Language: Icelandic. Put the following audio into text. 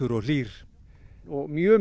og hlýr og mjög